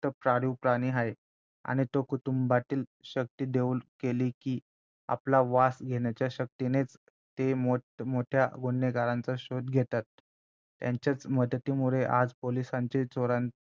पाळीव प्राणी आहे आणि तो कुटुंबातील शक्ती देऊ केली की आपल्या वास घेण्याचा शक्तीनेच ते मोठमोठया गुन्हेगारांचा शोध घेतात त्यांच्याच मदतीमुळे आज पोलिसांचे